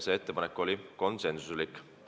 See ettepanek sündis konsensusega.